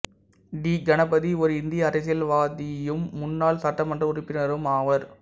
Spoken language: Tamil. டி கணபதி ஒரு இந்திய அரசியல்வாதியும் முன்னாள் சட்டமன்ற உறுப்பினரும் ஆவார்